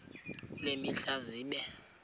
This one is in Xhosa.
kule mihla zibe